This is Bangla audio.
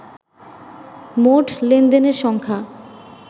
মোট লেনদেনের সংখ্যা